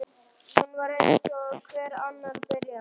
Hún var eins og hver annar byrjandi.